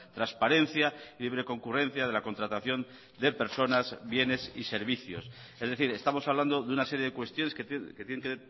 transparencia libre concurrencia de la contratación de personas bienes y servicios es decir estamos hablando de una serie de cuestiones que tienen que